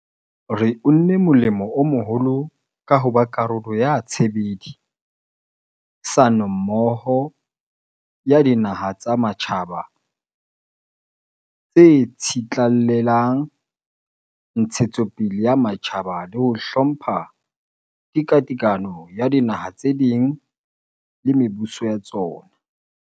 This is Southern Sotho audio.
Re unne molemo o moholo ka ho ba karolo ya tshebedi sanommoho ya dinaha tsa matjhaba tse tsitlallelang ntshetso pele ya matjhaba le ho hlompha tekatekano ya dinaha tse ding le mebuso ya tsona.